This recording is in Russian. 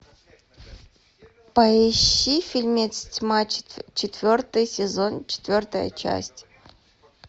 поищи фильмец тьма четвертый сезон четвертая часть